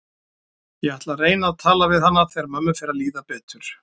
Ég ætla að reyna að tala við hana þegar mömmu fer að líða betur.